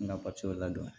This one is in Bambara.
N ka ladon